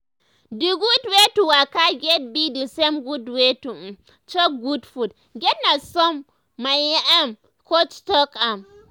d gud wey to waka get be d same gud wey to um chop gud food get na som my ermm coach talk am.